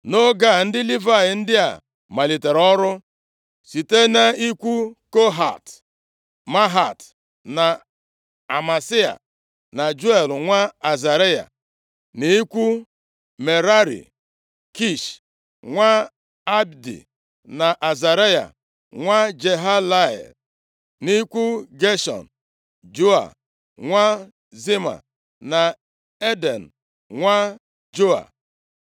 Nʼoge a ndị Livayị ndị a malitere ọrụ: site nʼikwu Kohat: Mahat na Amasai, na Juel nwa Azaraya; nʼikwu Merari: Kish nwa Abdi, na Azaraya nwa Jehalelel; nʼikwu Geshọn: Joa nwa Zima, na Eden nwa Joa;